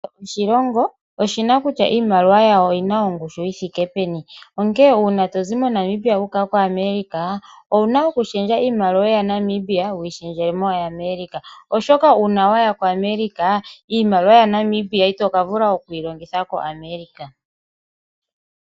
Kehe oshilongo oshina kutya iimaliwa yawo oyina ongushu yithike peni. Onkene uuna tozi MoNamibia wu uka ko America, owuna okushendja iimaliwa yaNamibia, wuyi shendjele mwaambi ya America. Oshoka uuna waya ko America iimaliwa yaNamibia ito vulu yi longitha ko America.